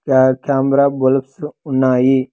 క్యా camera bulbs ఉన్నాయి.